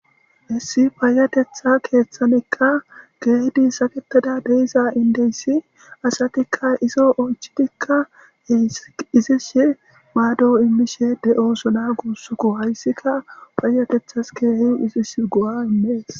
Issi payatetha keeththanikka keehi saketada diza indeyssi asatikka izo oychidikka izisi maado immishe de'oosona.guusuko hayssika payatethas keehi izisi go'a immees.